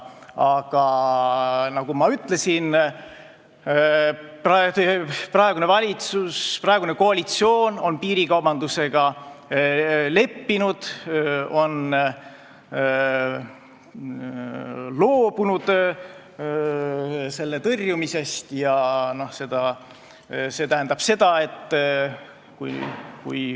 Aga nagu ma ütlesin, praegune valitsus, praegune koalitsioon on piirikaubandusega leppinud, ta on loobunud selle tõrjumisest.